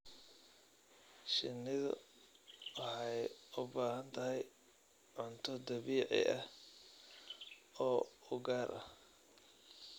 Shinnidu waxay u baahan tahay cunto dabiici ah oo u gaar ah.